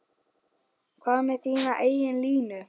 Hvað með þína eigin línu?